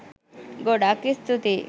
ගොඩක් ස්තූතියි